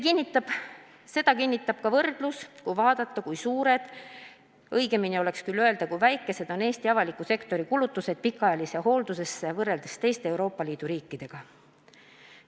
Seda kinnitab ka võrdlus, kui vaadata, kui suured – õigem oleks küll öelda, kui väikesed – on Eesti avaliku sektori kulutused pikaajalisse hooldusesse võrreldes teiste Euroopa Liidu riikidega.